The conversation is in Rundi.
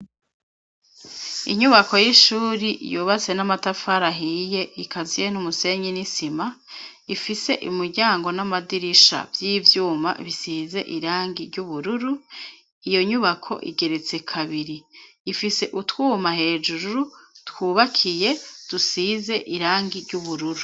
Inyubako y'ishuri yubatse n'amatafari ahiye ikaziye n'umusenyi n'isima ifise, imiryango n'amadirisha vy'ivyuma, bisize irangi ry'ubururu, iyo nyubako igeretse kabiri ifise utwuma hejuru twubakiye, dusize irangi ry'ubururu.